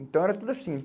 Então era tudo assim.